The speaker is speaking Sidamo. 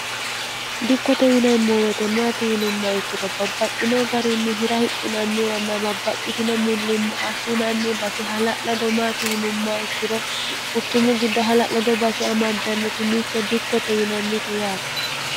dikkote yinaemmo wetemmaati yinumma ikkiro babbaxxinoo garinni hira hidhinanniwanna babbaxxitino millimmo assinanni base hala'lado maati yinumma ikkiro quchummu giddo hala'lado base amaddannoti mitte dikkote yinannite yaate